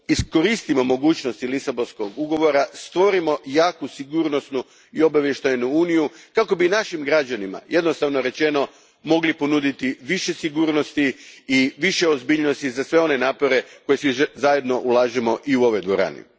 Zato, iskoristimo mogućnosti Lisabonskog ugovora, stvorimo jaku sigurnosnu i obavještajnu uniju kako bi našim građanima, jednostavno rečeno, mogli ponuditi više sigurnosti i više ozbiljnosti za sve one napore koje svi zajedno ulažemo i u ovoj dvorani.